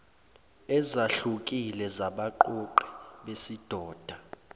ezahlukile zabaqoqi besidoda